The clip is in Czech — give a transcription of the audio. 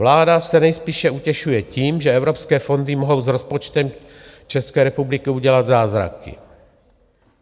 Vláda se nejspíše utěšuje tím, že evropské fondy mohou s rozpočtem České republiky udělat zázraky.